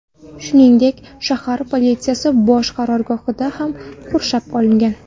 Shuningdek, shahar politsiyasi bosh qarorgohi ham qurshab olingan.